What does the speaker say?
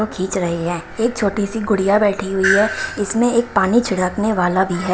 Photo खींच रही है एक छोटी सी गुड़िया बैठी हुई है इसमें एक पानी छिड़कने वाला भी है।